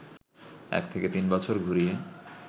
১ থেকে ৩ বছর ঘুরিয়ে